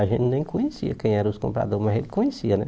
A gente nem conhecia quem eram os compradores, mas ele conhecia, né?